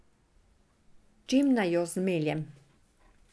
S čim naj jo zmeljem?